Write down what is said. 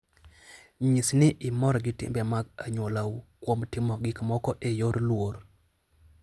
Nyis ni imor gi timbe mag anyuolau kuom timo gik moko e yor luor.